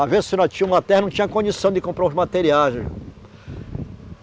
Às vezes se tinha uma terra, tinha condição de comprar materiais.